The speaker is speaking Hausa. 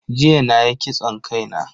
Jiya nayi kitson kai na.